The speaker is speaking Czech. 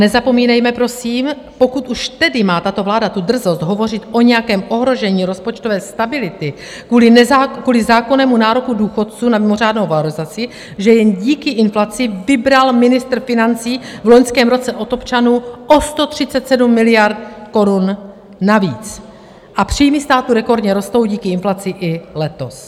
Nezapomínejme, prosím, pokud už tedy má tato vláda tu drzost hovořit o nějakém ohrožení rozpočtové stability kvůli zákonnému nároku důchodců na mimořádnou valorizaci, že jen díky inflaci vybral ministr financí v loňském roce od občanů o 137 miliard korun navíc a příjmy státu rekordně rostou díky inflaci i letos.